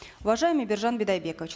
уважаемый биржан бидайбекович